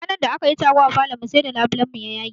Ranar da akayi taro a falon mu sai da labulen mu ya yage